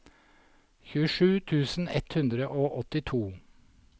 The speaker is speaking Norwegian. tjuesju tusen ett hundre og åttito